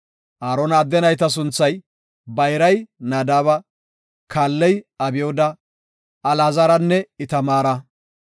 Aarona adde nayta sunthay, bayray Nadaaba, kaalley Abyooda, Alaazaranne Itamaara.